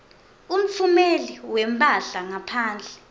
umtfumeli wemphahla ngaphandle